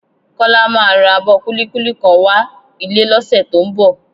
Kọ́lá máa ra abọ kúlíkúlí kan wá ilé lọ́sẹ̀ tó ń bọ̀